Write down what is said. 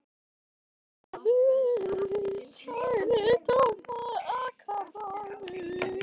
Hvað er að gerast? spurði Thomas ákafur.